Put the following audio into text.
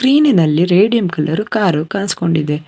ಈನಿನಲ್ಲಿ radium colour car ಕಾಣ್ಸ್ಕೊಂಡಿದೆ.